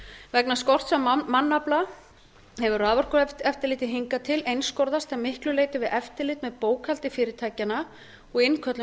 vegna skorts á mannafla hefur raforkueftirlitið hingað til einskorðast að miklu leyti við eftirlit með bókhaldi fyrirtækjanna og innköllun